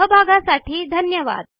सहभागासाठी धन्यवाद